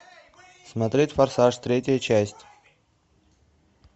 смотреть форсаж третья часть